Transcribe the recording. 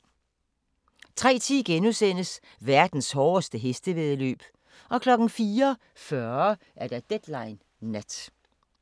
03:10: Verdens hårdeste hestevæddeløb * 04:40: Deadline Nat